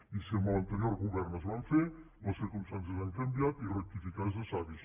i si amb l’anterior govern es van fer les circumstàncies han canviat i rectificar és de savis